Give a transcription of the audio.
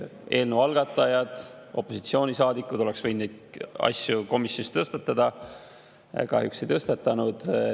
Eelnõu algatajad, opositsioonisaadikud, oleks võinud neid komisjonis tõstatada, kahjuks nad ei tõstatanud.